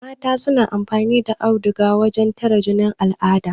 Mata suna amfani da auduga wurin tare jinin al'ada